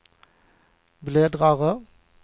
bläddrare